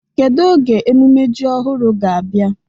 Kedu oge emume ji ọhụrụ ga-abịa?